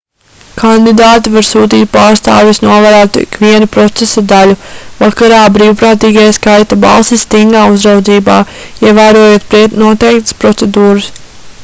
kandidāti var sūtīt pārstāvjus novērot ikvienu procesa daļu vakarā brīvprātīgie skaita balsis stingā uzraudzībā ievērojot noteiktas procedūras